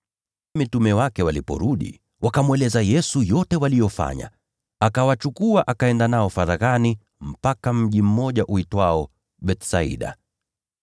Mitume wake waliporudi, wakamweleza Yesu yote waliyofanya. Akawachukua, akaenda nao faraghani mpaka mji uitwao Bethsaida.